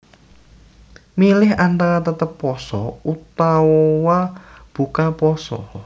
Milih antara tetep pasa utawa buka pasa